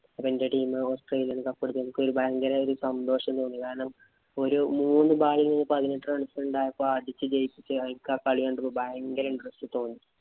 അപ്പൊ എന്‍റെ team Australia cup എടുത്തു. എനിക്ക് ഭയങ്കര ഒരു സന്തോഷം തോന്നി. കാരണം, ഒരു മൂന്ന് ball ഇന് പതിനെട്ട് runs ഇന് അടിച്ചു ജയിപ്പിച്ചയാള്‍ക്ക് ആ കളി കണ്ടപ്പോ ഭയങ്കര interest തോന്നി.